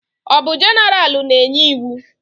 Ọ bụ jeneralụ na-enye iwu?